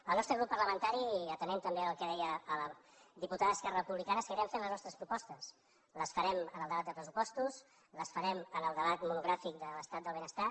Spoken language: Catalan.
el nostre grup parlamentari atenent també al que deia a la diputada d’esquerra republicana seguirem fent les nostres propostes les farem en el debat de pressupostos les farem en el debat monogràfic de l’estat del benestar